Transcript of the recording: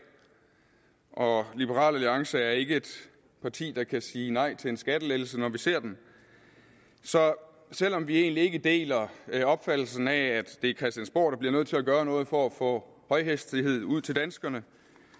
og liberal alliance er ikke et parti der kan sige nej til en skattelettelse når vi ser den så selv om vi egentlig ikke deler opfattelsen af at det er christiansborg der bliver nødt til at gøre noget for at få højhastighed ud til danskerne